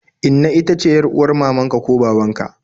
Inna ita ce yar'uwar mamaka ko babanka